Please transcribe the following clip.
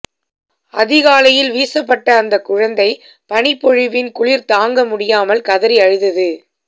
அதிகாலையில் வீசப்பட்ட அந்த குழந்தை பனிப்பொழிவின் குளிர் தாங்க முடியாமல் கதறி அழுதது